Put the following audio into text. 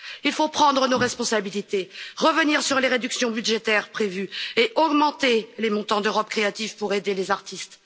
Il faut prendre nos responsabilités, revenir sur les réductions budgétaires prévues et augmenter les montants d'Europe créative pour aider les artistes.